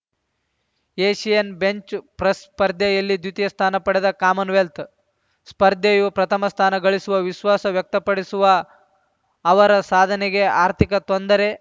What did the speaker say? Asian bench press ಸ್ಪರ್ಧೆಯಲ್ಲಿ ದ್ವಿತೀಯ ಸ್ಥಾನ ಪಡೆದ ಕಾಮನ್‌ ವೆಲ್ತ್‌ ಸ್ಪರ್ಧೆಯು ಪ್ರಥಮ ಸ್ಥಾನ ಗಳಿಸುವ ವಿಶ್ವಾಸ ವ್ಯಕ್ತಪಡಿಸುವ ಅವರ ಸಾಧನೆಗೆ ಆರ್ಥಿಕ ತೊಂದರೆ